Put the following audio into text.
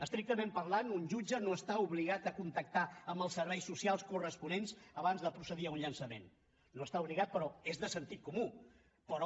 estrictament parlant un jutge no està obligat a contactar amb els serveis socials corresponents abans de procedir a un llançament no hi està obligat però és de sentit comú però